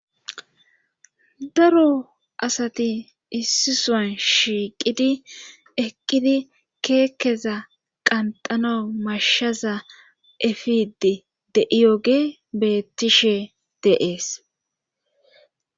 daro asati issisan shiiqidi eqqidi keekkeza qanxana mashshaza efidi de7iyoge bettishe de7es